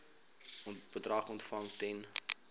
bedrag ontvang ten